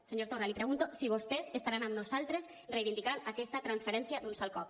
senyor torra li pregunto si vostès estaran amb nosaltres reivindicant aquesta transferència d’un sol cop